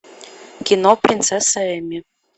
кино принцесса эмми